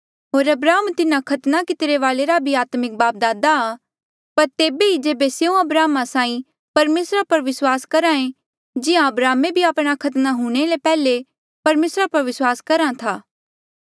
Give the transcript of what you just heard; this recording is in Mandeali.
होर अब्राहम तिन्हा खतना कितिरे वाले रा भी आत्मिक बापदादा आ पर तेबे ही जेबे स्यों अब्राहम साहीं परमेसरा पर विस्वास करहे जिहां अब्राहमे भी आपणे खतना हूंणे ले पैहले परमेसरा पर विस्वास करहा था